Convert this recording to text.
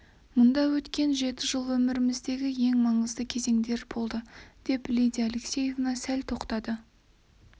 мұнда өткен жеті жыл өміріміздегі ең мағыналы кезеңдер болды деп лидия алексеевна сәл тоқтады